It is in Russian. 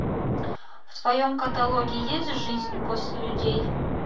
в твоем каталоге есть жизнь после людей